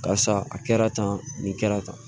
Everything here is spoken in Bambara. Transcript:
Karisa a kɛra tan nin kɛra tan